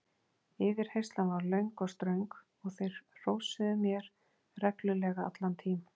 Yfirheyrslan varð löng og ströng og þeir hrósuðu mér reglulega allan tím